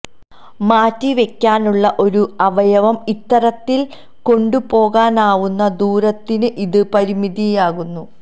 മാറ്റി വയ്ക്കാനുള്ള ഒരു അവയവം ഇത്തരത്തില് കൊണ്ടുപോകാനാവുന്ന ദൂരത്തിന് ഇതു പരിമിതിയാകുന്നു